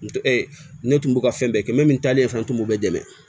N ne tun b'u ka fɛn bɛɛ kɛ mɛ min talen fana tun b'o bɛɛ dɛmɛ